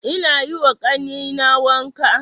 Ina yiwa ƙannena wanka